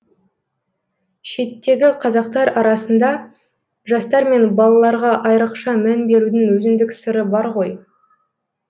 шеттегі қазақтар арасында жастар мен балаларға айрықша мән берудің өзіндік сыры бар ғой